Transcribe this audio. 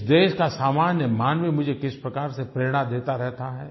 इस देश का सामान्य मानव मुझे किस प्रकार से प्रेरणा देता रहता है